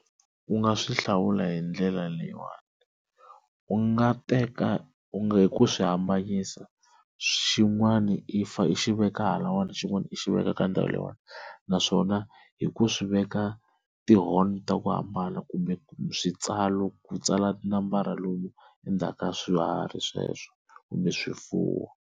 U nga swi hlawula hi ndlela leyiwani, u nga teka u nga hi ku swi hambanyisa xin'wana i fa i xi veka halawani, xin'wana i xi veka ka ndhawu leyiwani, naswona hi ku swi veka ti-horn ta ku hambana kumbe switsalo ku tsala tinambara lomu ka swiharhi sweswo kumbe swifuwo.